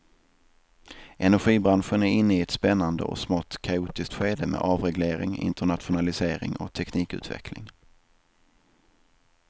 Energibranschen är inne i ett spännande och smått kaotiskt skede med avreglering, internationalisering och teknikutveckling.